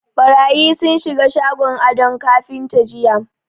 Ɓarayi sun shiga shagon Ado kafinta jiya.